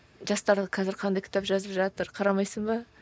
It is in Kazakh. жастар қазір қандай кітап жазып жатыр қарамайсың ба